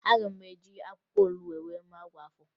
Aga m eji akwụkwọ olubo mee ọgwụ afọ